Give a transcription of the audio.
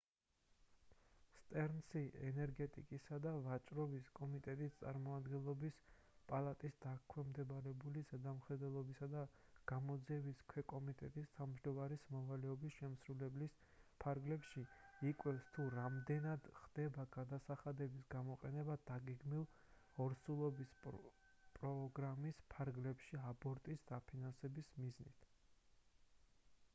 სტერნსი ენერგეტიკისა და ვაჭრობის კომიტეტის წარმომადგენლობის პალატას დაქვემდებარებული ზედამხედველობისა და გამოძიების ქვეკომიტეტის თავმჯდომარის მოვალეობის შესრულების ფარგლებში იკვლევს თუ რამდენად ხდება გადასახადების გამოყენება დაგეგმილი ორსულობის პროგრამის ფარგლებში აბორტების დაფინანსების მიზნით